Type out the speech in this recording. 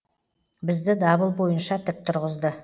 бізді дабыл бойынша тік тұрғызды